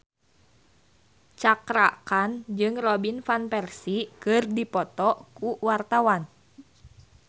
Cakra Khan jeung Robin Van Persie keur dipoto ku wartawan